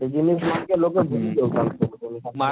ଇ ଜିନିଷ ମାନକେ ଲୋକେ ଭୁଲି ଯାଉଛନ